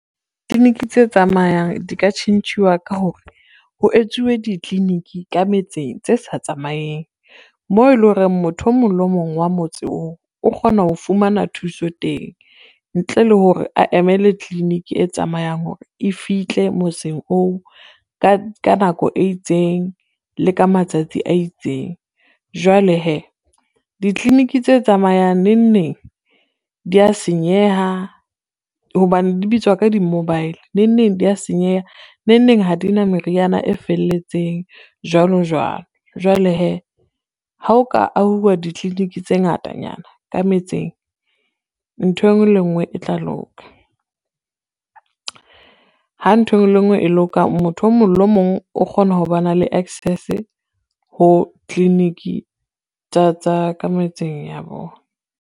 Clinic tse tsamayang di ka tjhentjhuwa ka hore, ho etsuwe ditliliniki ka metseng tse sa tsamaeng, moo e lo reng motho o mong le o mong wa motse oo o kgona ho fumana thuso teng ntle le hore a emele clinic e tsamayang hore e fihle motseng oo ka nako e itseng le ka matsatsi a itseng. Jwale hee di-clinic tse tsamayang neng neng di ya senyeha hobane di bitswa ka di-mobile, neng neng dia senyeha, neng neng ha di na meriana e felletseng jwalo jwalo. Jwale hee ha o ka ahuwa di-clinic tse ngatanyana ka metseng ntho e ngwe le ngwe e tla loka, ha ntho e ngwe le e ngwe e loka motho o mong le o mong o kgona ho bana le access ho clinic tsa ka metseng ya bona.